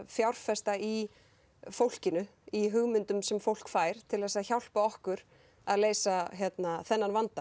fjárfesta í fólkinu í hugmyndum sem fólk fær til að hjálpa okkur að leysa þennan vanda